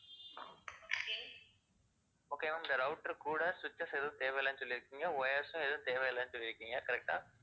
okay ma'am இந்த router கூட switches எதுவும் தேவை இல்லைன்னு சொல்லிருக்கீங்க, wires சும் எதுவும் தேவை இல்லைன்னு சொல்லிருக்கீங்க correct ஆ